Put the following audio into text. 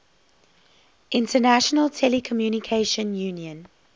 international telecommunication union